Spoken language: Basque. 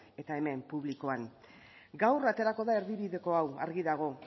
eta hemen publikoan gaur aterako da erdibideko hau argi dago